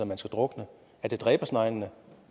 man skal drukne er det dræbersneglene